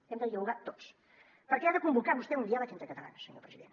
hem de jugar tots perquè ha de convocar vostè un diàleg entre catalans senyor president